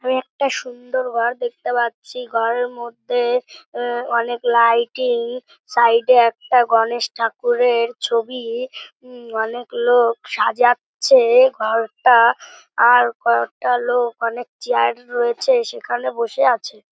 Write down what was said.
আমি একটা সুন্দর ওয়াল দেখতে পাচ্ছি। ঘরের মধ্যে অ্যা অনেক লাইটিং সাইড -এ একটা গণেশ ঠাকুরের ছবি উম উম অনেক লোক সাজাচ্ছে ঘর টা আর কয়েকটা লোক অনেক চেয়ার রয়েছে সেখানে বসে আছে।